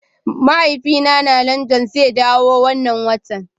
Mahaifina na London zai dawo wannan watan.